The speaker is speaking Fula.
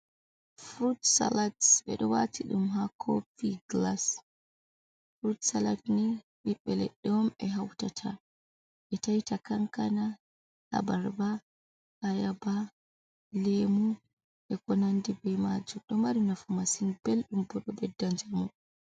Furut salat, ɓe ɗo waati ɗum haa kofi gilas, furut salat ne ɓiɓɓe leɗɗe on ɓe hautata ɓe taitata kankana, abarba, ayaba, leemu, e ko nandi be maajum, ɗo mari nafu masin belɗum ɓo ɗo ɓedda njamu.